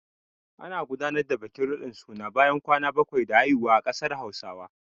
Ana gudanar da bikin radin suna ne bayan kwana bakwai da haihuwa a kasar Hausa.